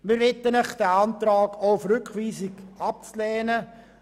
Wir bitten Sie, diesen Antrag und auch die Rückweisung abzulehnen.